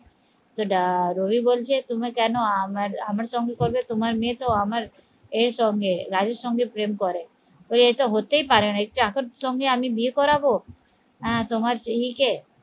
তো আহ রবি বলছে তুমি কেন আমার আমা সঙ্গে করবে তোমার মেয়ে তো আমার এর সঙ্গে রাজুর সঙ্গে প্রেম করে এটা হতেই পারে না এই চাকরের সঙ্গে আমি বিয়ে করাবো আহ তোমার স্ত্রীকে